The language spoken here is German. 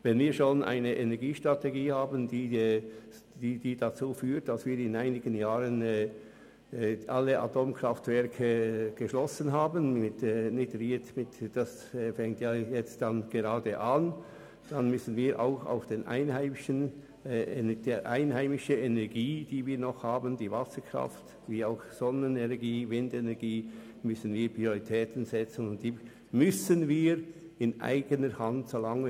Wenn wir schon eine Energiestrategie haben, die dazu führt, dass wir in einigen Jahren alle Atomkraftwerke stillgelegt haben werden, was in Kürze beginnen wird, dann müssen wir Prioritäten setzen und auch einheimische Energien, über die wir noch verfügen – nämlich Wasserkraft, Sonnen- und Windenergie –, so lange wie möglich in eigener Hand behalten.